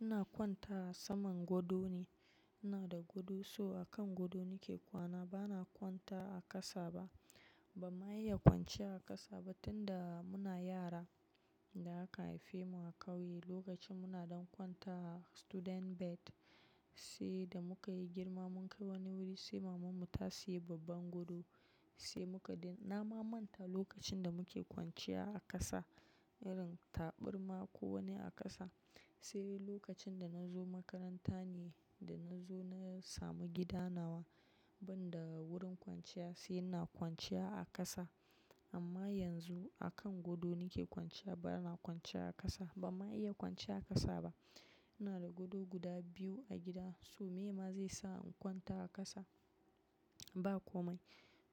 Ina kwanta a saman gado ne. Ina da godo, so a kan godo nake kwana. Bana kwanta a ƙasa ba. Ban ma iya kwanciya a ƙasa ba tun da muna yara da aka haife mu a ƙauye. Lokacin muna ɗan kwanta a student bed, sai da muka yi girma mun kai woni wuri sai maman mu ta seyi babban godo sai muka daina namamanta lokacin da muke kwanciya a ƙasa, irin taburma ko woni a ƙasa. Sai lokacin da na zo makaranta ne da na zo na samu gida nawa, banda wurin kwanciya sai ina kwanciya a ƙasa. Amma yanzu akan godo nake kwanciya bana kwanciya a ƙasa ba mu iya kwanciya a ƙasa ba. Ina da godo guda biyu a gida so me ma zai sa in kwanta a ƙasa? Ba komai.